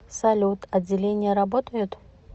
салют отделения работают